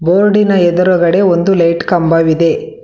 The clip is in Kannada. ಬೋರ್ಡ್ ಇನ ಎದುರುಗಡೆ ಒಂದು ಲೈಟ್ ಕಂಬವಿದೆ.